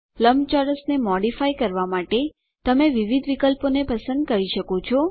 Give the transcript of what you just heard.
લંબચોરસને મોડીફાય કરવાં માટે તમે વિવિધ વિકલ્પોને પસંદ કરી શકો છો